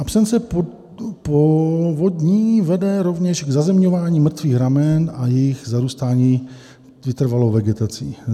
"Absence povodní vede rovněž k zazemňování mrtvých ramen a jejich zarůstání vytrvalou vegetací.